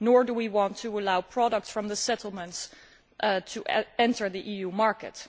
Nor do we want to allow products from the settlements to enter the EU market.